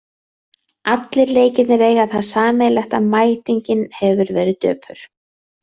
Allir leikirnir eiga það sameiginlegt að mætingin hefur verið döpur.